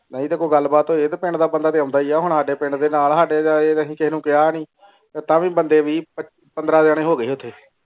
ਨਾਈ ਤੇ ਕੋਈ ਗ਼ਲਤ ਬਾਤ ਹੋਈ ਹੈ ਪਿੰਡ ਦਾ ਬੰਦਾ ਤੇ ਆਉਂਦਾ ਹੀ ਹੈ ਹੁਣ ਸਾਡੇ ਪਿੰਡ ਦੇ ਨਾਲ ਸਾਡੇ ਤੇ ਇਹ ਤੇ ਇਹ ਤੇ ਅਸੀਂ ਤੈਨੂੰ ਕੀਆ ਨਾਈ ਤੇ ਤਵੀ ਬੰਦੇ ਵੀ ਪੈਨ ਪੰਦਰਾਂ ਜਾਨੀ ਹੋ ਗਏ ਓਥੇ.